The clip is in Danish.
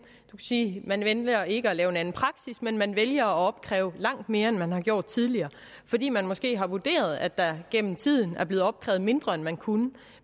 sige at man vælger ikke at lave en anden praksis men man vælger at opkræve langt mere end man har gjort tidligere fordi man måske har vurderet at der gennem tiden er blevet opkrævet mindre end man kunne